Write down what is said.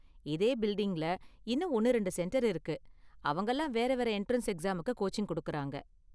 இதே பில்டிங்ல இன்னும் ஒன்னு ரெண்டு சென்டர் இருக்கு, அவங்கலாம் வேற வேற எண்ட்ரன்ஸ் எக்ஸாமுக்கு கோச்சிங் கொடுக்கறாங்க.